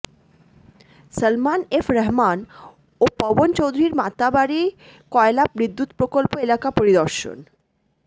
Salman F Rahman ও পবন চৌধুরীর মাতারবাড়ি কয়লা বিদ্যুৎ প্রকল্প এলাকা পরিদর্শন